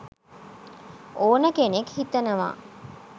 ඕන කෙනෙක් හිතනවා.